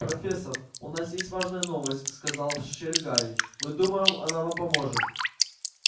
профессор у нас есть важная новость сказал в щель гарри мы думаем она вам поможет